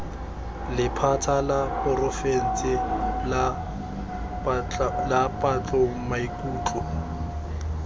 lephata la porofense la patlomaikutlo